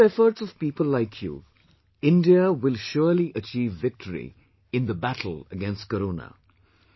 Due to efforts of people like you, India will surely achieve victory in the battle against Corona